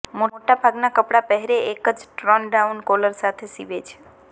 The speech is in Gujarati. મોટા ભાગનાં કપડાં પહેરે એક જ ટર્નડાઉન કોલર સાથે સીવે છે